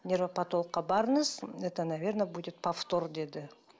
невропотологқа барыңыз это наверное будет повтор деді